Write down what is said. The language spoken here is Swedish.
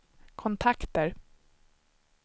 kontakter